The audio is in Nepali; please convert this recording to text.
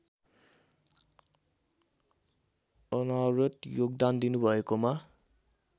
अनवरत योगदान दिनुभएकोमा